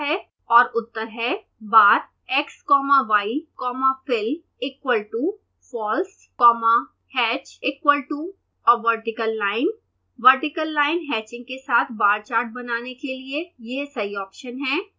और उत्तर है bar x comma y comma fill is equal to false comma hatch is equal to a vertical line vertical line hatching के साथ bar chart बनाने के लिए यह सही ऑप्शन है